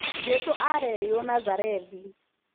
Jesu arereirwo nazarethi